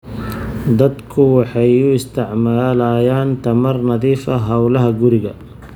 Dadku waxay u isticmaalayaan tamar nadiif ah hawlaha guriga.